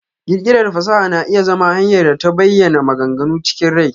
ƙirƙirar fasaha na iya zama hanyar ta bayana maganganu chikin rai.